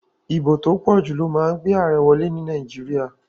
Ìbò tó pòjù ló ma n gbé àarẹ wolé ní Naíjiria